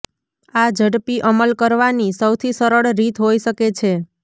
આ ઝડપી અમલ કરવાની સૌથી સરળ રીત હોઈ શકે છે